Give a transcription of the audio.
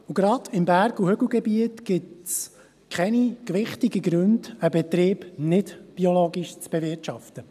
Gerade im Berg- und Hügelgebiet gibt es keine gewichtigen Gründe, einen Betrieb nicht biologisch zu bewirtschaften.